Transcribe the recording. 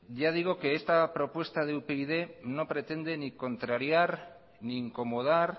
ya digo que esta propuesta de upyd no pretende ni contrariar ni incomodar